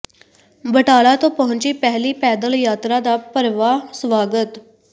ਬਟਾਲਾ ਤੋਂ ਪਹੁੰਚੀ ਪਹਿਲੀ ਪੈਦਲ ਯਾਤਰਾ ਦਾ ਭਰਵਾਂ ਸਵਾਗਤ